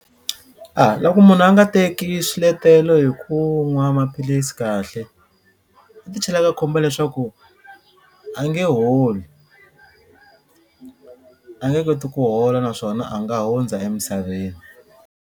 A loko munhu a nga teki swiletelo hi ku nwa maphilisi kahle u ti chela eka khombo leswaku a nge holi a nge koti ku hola naswona a nga hundza emisaveni.